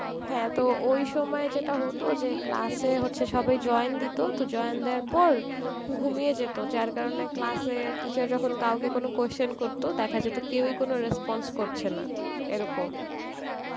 হ্যাঁ তো ওই সময় যেটা হত যে class এ হচ্ছে সবাই join দিত, তো সবাই জিন দেওয়ার পর, ঘুমিয়ে যেত যার কারণ এ class এর teacher যখন কাউকে কোনো question করত দেখা যেত কেউ ই কোনো response করছে না এরকম